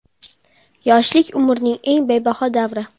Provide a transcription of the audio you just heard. Yoshlik – umrning eng bebaho davri.